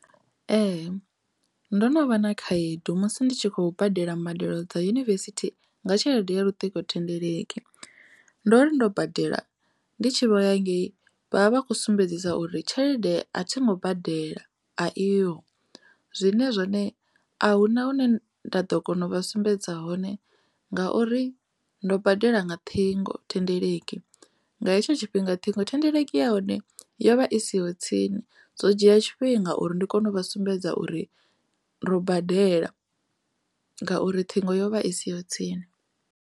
Ee, ndo no vha na khaedu musi ndi tshi khou badela mbadelo dza Yunivesithi nga tshelede ya luṱingo thendeleki ndo ri ndo badela ndi tshi vho ya ngei vha vha vha kho sumbedzisa uri tshelede a thi ngo badela a iho, zwine zwone a huna hune nda ḓo kona u vha sumbedza hone ngauri ndo badela nga ṱhingothendeleki nga hetsho tshifhinga ṱhingothendeleki ya hone yo vha i siho tsini zwo dzhia tshifhinga uri ndi kone u vha sumbedza uri ro badela ngauri ṱhingo yo vha i siho tsini.